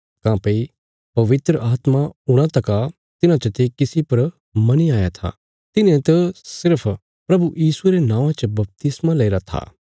काँह्भई पवित्र आत्मा हूणा तका तिन्हां चते किसी पर मनी आया था तिन्हें त सिर्फ प्रभु यीशुये रे नौआं च बपतिस्मा लईरा था